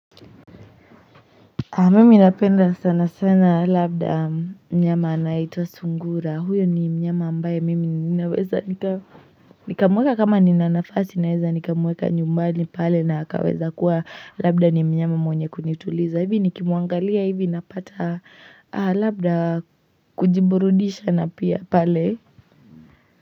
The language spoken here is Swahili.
Mimi napenda sana sana labda mnyama anayeitwa sungura huyo ni mnyama ambaye mimi ninaweza nikamweka kama nina nafasi naeza nikamweka nyumbani pale na akaweza kuwa labda ni mnyama mwenye kunituliza hivi nikimuangalia hivi napata labda kujiburudisha na pia pale.